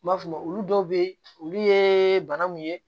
N b'a f'o ma olu dɔw be yen olu ye bana mun ye